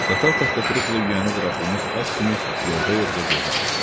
Qatar takkaturukla yüyəni buraxılmış at kimi yorğa-yorğa gedirdi.